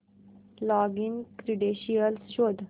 login credentials शोध